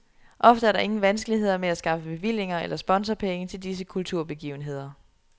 Ofte er der ingen vanskeligheder med at skaffe bevillinger eller sponsorpenge til disse kulturbegivenheder.